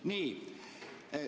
Nii.